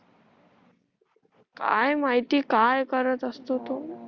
काय माहिती काय करत असते तो